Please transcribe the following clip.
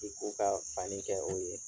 I k'u ka fani kɛ o ye.